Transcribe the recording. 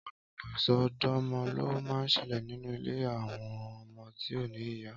Ọpọlọpọ isọdọmọ ló mà n ṣẹlẹ ninú ilé awọn ọmọ ti ó ni ìyá